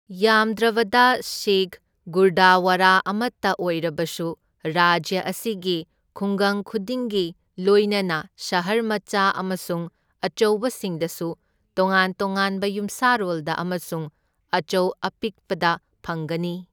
ꯌꯥꯝꯗ꯭ꯔꯕꯗ ꯁꯤꯈ ꯒꯨꯔꯗꯋꯥꯔꯥ ꯑꯃꯇ ꯑꯣꯏꯔꯕꯁꯨ ꯔꯥꯖ꯭ꯌ ꯑꯁꯤꯒꯤ ꯈꯨꯡꯒꯪ ꯈꯨꯗꯤꯡꯒꯤ, ꯂꯣꯢꯅꯅ ꯁꯍꯔ ꯃꯆꯥ ꯑꯃꯁꯨꯡ ꯑꯆꯧꯕꯁꯤꯡꯗꯁꯨ ꯇꯣꯉꯥꯟ ꯇꯣꯉꯥꯟꯕ ꯌꯨꯝꯁꯥꯔꯣꯜꯗ ꯑꯃꯁꯨꯡ ꯑꯆꯧ ꯑꯄꯤꯛꯄꯗ ꯐꯪꯒꯅꯤ꯫